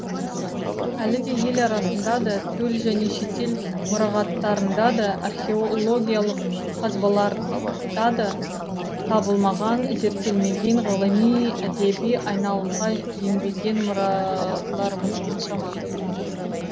әлі де ел арасында да төл және шетел мұрағаттарында да археологиялық қазбаларда да табылмаған зерттелмеген ғылыми әдеби айналымға енбеген мұраларымыз қаншама